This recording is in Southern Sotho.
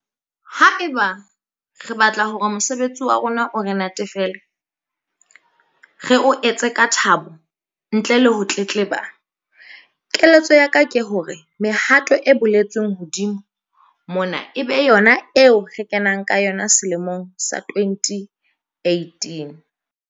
Haeba re batla hore mosebetsi wa rona o re natefele, re o etse ka thabo ntle le ho tletleba, keletso ya ka ke hore mehato e boletsweng hodimo mona e be yona eo re kenang ka yona selemong sa 2018.